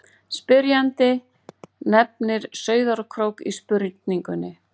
spyrjandi nefnir sauðárkrók í spurningunni